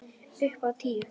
Upp á tíu.